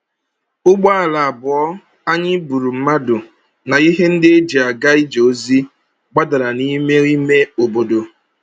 Ụgbọala abụọ anyị buru mmadụ na ihe ndị e ji aga ije ozi, gbadara n’ime ime obodo.